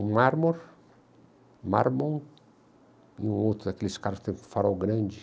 Um marmor, marmon, e o outro daqueles carros que tem o farol grande.